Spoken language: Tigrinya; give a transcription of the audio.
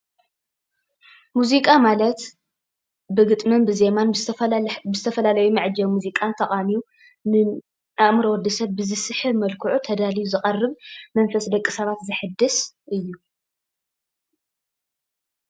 ሙዚቃ ማለት ብግጥምን ብዜማን ብዝተፈላለዩ መዐጀቢ ሙዚቃን ተቃኒዩ ንኣእምሮ ወዲሰብ ብዝስሕብ መልክዑ ተዳልዩ ዝቐርብ መንፈስ ደቂ ሰባት ዘሕድስ እዩ፡፡